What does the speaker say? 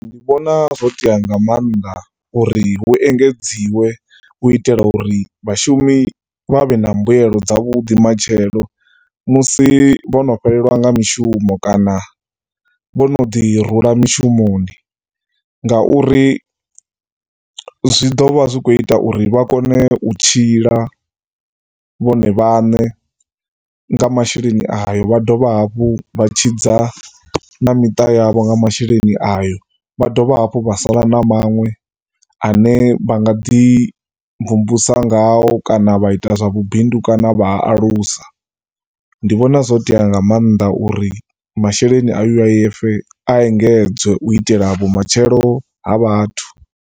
Ndi vhona zwo tea nga maanḓa uri hu engedziwe u itela uri vhashumi vha vhe na mbuyelo dza vhuḓi matshelo musi vhono fhelelwa nga mishumo kana vhono ḓi rula mishumoni nga uri zwi ḓovha zwikho ita uri vha kone u tshila vhone vhaṋe nga masheleni ayo vha dovha hafhu vha tshidza na miṱa yavho nga masheleni ayo. Vha dovha hafhu vha sala na manwe ane vhangaḓi mvumvusa ngao kana vha ita zwa vhubidu kana vha a alusa. Ndi vhona zwo tea nga maanḓa uri masheleni a U_I_F a engedzwe u itela vhumatshelo ha vhathu.